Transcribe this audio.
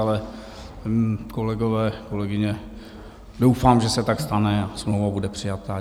Ale kolegové, kolegyně, doufám, že se tak stane a smlouva bude přijata.